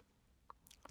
TV 2